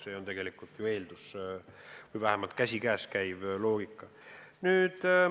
See on tegelik eeldus või vähemalt sellega käsikäes käiv loogika.